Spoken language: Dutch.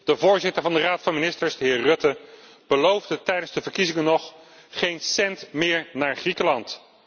De voorzitter van de Raad van ministers, de heer Rutte, beloofde tijdens de verkiezingen nog geen cent meer naar Griekenland.